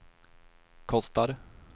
kostar